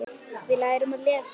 Við lærum að lesa.